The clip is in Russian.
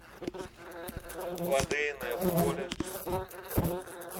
лодейное поле